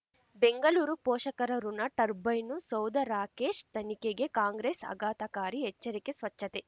ಬೆಂಗಳೂರು ಪೋಷಕರಋಣ ಟರ್ಬೈನು ಸೌಧ ರಾಕೇಶ್ ತನಿಖೆಗೆ ಕಾಂಗ್ರೆಸ್ ಆಘಾತಕಾರಿ ಎಚ್ಚರಿಕೆ ಸ್ವಚ್ಛತೆ